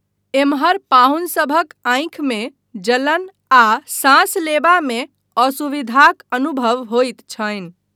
एम्हर पाहुनसभक आँखिमे जलन आ साँस लेबामे असुविधाक अनुभव होइत छनि।